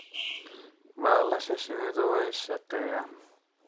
baalasha shinnidu way shaqeeyaan.